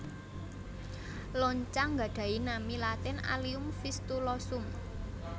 Loncang nggadhahi nami latin Allium Fistulosum